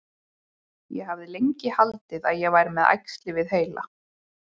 Ég hafði lengi haldið að ég væri með æxli við heila.